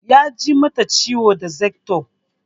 Ya ji mata ciwo da zarto